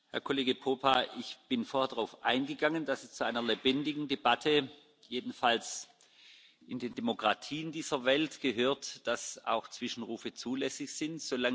Herr Kollege Popa! Ich bin vorher darauf eingegangen, dass es zu einer lebendigen Debatte jedenfalls in den Demokratien dieser Welt gehört, dass auch Zwischenrufe zulässig sind.